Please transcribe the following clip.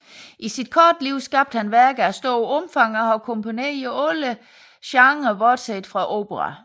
I sit korte liv skabte han værker af stort omfang og har komponeret i alle genrer bortset fra opera